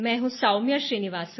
मैं हूँ सौम्या श्रीनिवासन